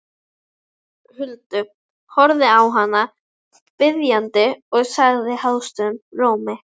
Huldu, horfði á hana biðjandi og sagði hásum rómi